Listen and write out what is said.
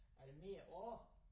Ja det mere år